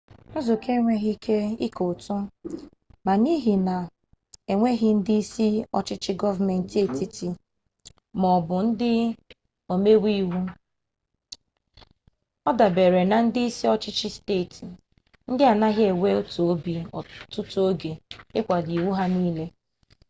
nzukọ enweghị ike ike ụtụ ma n'ihi na enweghi ndị isi ọchịchị gọọmenti etiti maọbụ ndị omeiwu ọ dabeere na ndị isi ọchịchị steeti ndị anaghị enwe otu obi ọtụtụ oge ịkwado iwu ya nile